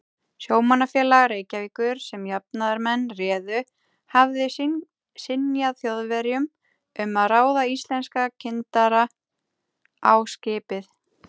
Sjómannafélag Reykjavíkur, sem jafnaðarmenn réðu, hafði synjað Þjóðverjum um að ráða íslenska kyndara á skipið.